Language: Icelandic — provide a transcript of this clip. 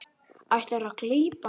Ætlarðu að gleypa mig!